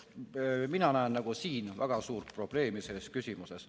Mina näen siin väga suurt probleemi selles küsimuses.